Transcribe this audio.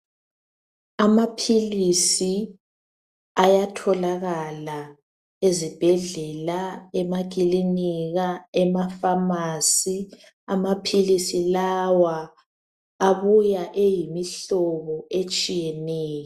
Amaphilisi ayatholakala ezibhedlela emakilinika ema-phamarcy Amaphilisi lawa abuya eyimihlobo etshiyeneyo.